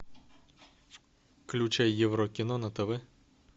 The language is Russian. включай евро кино на тв